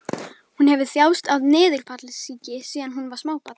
Hún hefur þjáðst af niðurfallssýki síðan hún var smábarn.